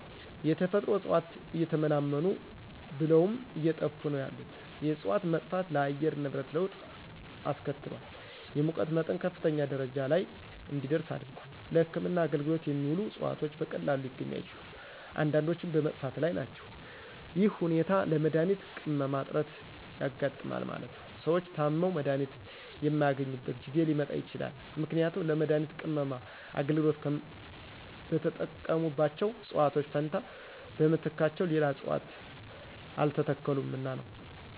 የተፈጥሮ እጽዋት እየተመናመኑ ብለውም አየጠፉ ነው ያሉት የእጽዋት መጥፋት ለአየር ንብረት ለወጥ አስከትሏል የሙቀት መጠን ከፍተኛ ደረጃ ለይ እንዲደርስ አድርጓል። ለህክምና አገልግሎት የሚውሉት እጽዋት በቀላሉ ሊገኙ አይችሉም። አንዳንዶችም በመጥፋት ላይ ናቸው ይህ ሁኔታ ለመድሀኒት ቅመማ እጥረት ያጋጥማል ማለት ነው። ሰዎች ታመው መድሀኒት የማያገኙበት ጊዜ ሊመጣ ይችላል ምክንያቱም ለመድሀኒት ቅመማ አገልግሎት በተጠቀሙባቸው እጽዋት ፈንታ በምትካቸው ሌላ እጽዋት አልተተከሉምና ነው።